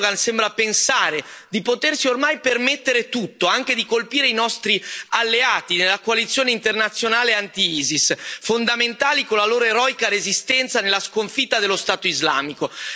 Erdogan sembra pensare di potersi ormai permettere tutto, anche di colpire i nostri alleati nella coalizione internazionale anti Isis, fondamentali con la loro eroica resistenza nella sconfitta dello Stato islamico.